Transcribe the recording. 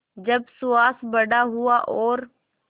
जब सुहास बड़ा हुआ और